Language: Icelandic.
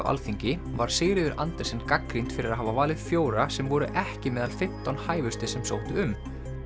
Alþingi var Sigríður Andersen gagnrýnd fyrir að hafa valið fjóra sem voru ekki meðal fimmtán hæfustu sem sóttu um